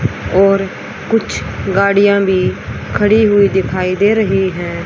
और कुछ गाड़ियां भी खड़ी हुई दिखाई दे रही हैं।